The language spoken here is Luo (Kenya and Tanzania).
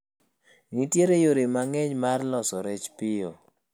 Nitiere yore mang'eny mar loso rech piyo